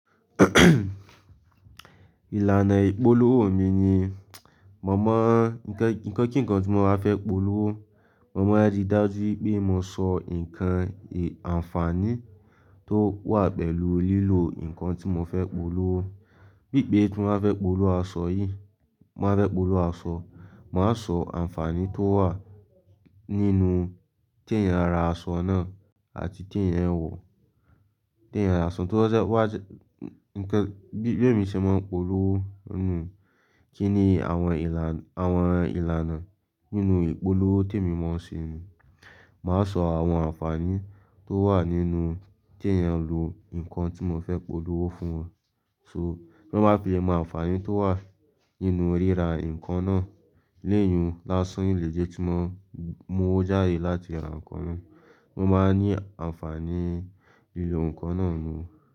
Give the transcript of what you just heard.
Ìlànà ìpolówó mi ni, mo mọ̀ nǹkan kí nǹkan tí mo máa fẹ́ polówó, mo máa rí i dájú pé mo sọ nǹkan ì-ànfààní tó wà pẹ̀lú lílo nǹkan tí mo fẹ́ polówó. Bíbè tí mo fẹ́ polówó aṣọ yìí, mo fẹ́ polówó aṣọ, màá sọ ànfààní tó wà nínú tí ẹ̀yin rà aṣọ náà àti tí ẹ̀yin ń wọ̀. Tí ẹ̀yin rà aṣọ tó jẹ́ wà jẹ́-- nǹkan, bí èmi ṣe máa ń polówó nínú kíni àwọn ìlànà, àwọn ìlànà nínú ìpolówó tí èmi máa ń ṣe nùu. Màá sọ àwọn ànfààní tó wà nínú tí ẹ̀yin ń lo nǹkan tí mo fẹ́ polówó fún wọn. So, bí wọ́n bá fi ẹ̀ mọ ànfààní tó wà nínú ríra nǹkan náà, léyun láásán iléjé tí wọ́n, mo wo jáde láti ra nǹkan náà, mo máa ní ànfààní lílo nǹkan náà nù.